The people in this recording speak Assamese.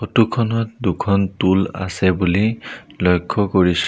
ফটো খনত দুখন টোল আছে বুলি লক্ষ্য কৰিছোঁ।